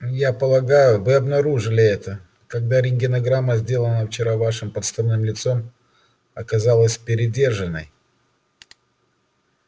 я полагаю вы обнаружили это когда рентгенограмма сделанная вчера вашим подставным лицом оказалась передержанной